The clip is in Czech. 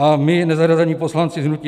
A my nezařazení poslanci hnutí